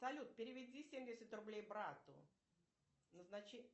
салют переведи семьдесят рублей брату назначение